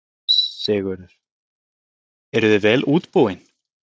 Sigurður: Eruð þið vel útbúin?